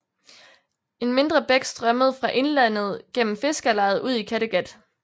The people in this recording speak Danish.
En mindre bæk strømmede fra indlandet gennem fiskerlejet ud i Kattegat